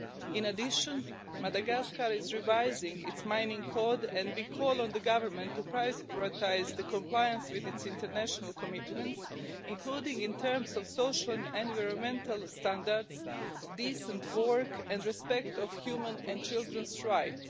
In addition, Madagascar is revising its mining code, and we call on the government to prioritise the compliance with its international commitments, including in terms of social and environmental standards, decent work and respect of human and children's rights.